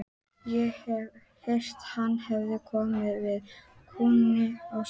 Ég hef heyrt hann hafi komið við kaunin á þér.